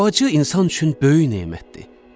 Bacı insan üçün böyük nemətdir.